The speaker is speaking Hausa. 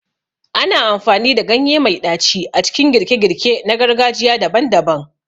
Ana amfani da ganye mai ɗaci a cikin girke-girke na gargajiya daban-daban.